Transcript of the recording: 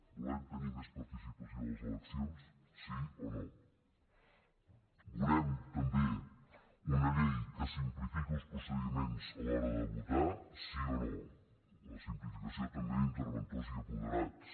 volem tenir més participació a les eleccions sí o no volem també una llei que simplifiqui els procediments a l’hora de votar sí o no la simplificació també d’interventors i apoderats